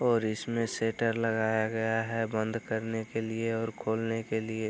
और इसमें शेटर लगाया गया है बंद करने के लिए और खोलने के लिए।